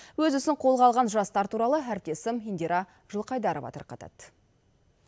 өз ісін қолға алған жастар туралы әріптесім индира жылқайдарова тарқатады